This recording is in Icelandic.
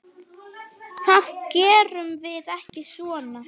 Það gerum við ekki svona.